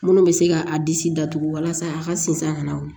Minnu bɛ se ka a disi datugu walasa a ka sinsan ka na o